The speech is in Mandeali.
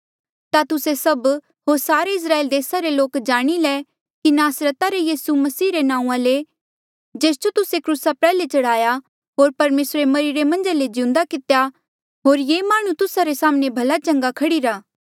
ता तुस्से सभ होर सारे इस्राएल देसा रे लोक जाणी ले कि नासरता रे यीसू मसीह रे नांऊँआं ले जेस जो तुस्से क्रूसा प्रयाल्हे चढ़ाया होर परमेसरे मरिरे मन्झा ले जिउंदा कितेया होर ये माह्णुं तुस्सा रे साम्हणें भला चंगा खड़ीरा